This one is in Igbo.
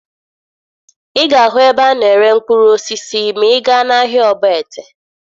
Ị ga-ahụ ebe a na-ere mkpụrụ osisi ma ị gaa n'ahịa Ogbete